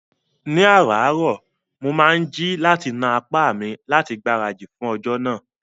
Ní ààrárọ̀, mo máa ń jí láti na apá mi láti gbáradì fún ọjọ́ náà